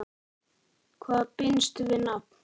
Hvað binst við nafn?